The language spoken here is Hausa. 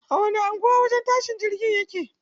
A wani anguwa wajen tashin jirgi yake?